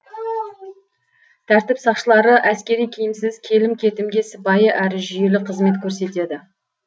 тәртіп сақшылары әскери киімсіз келім кетімге сыпайы әрі жүйелі қызмет көрсетеді